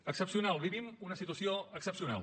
excepcional vivim una situació excepcional